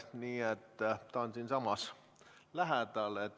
Nii et ta on siinsamas lähedal.